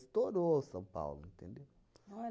Estourou São Paulo, entendeu? Olha!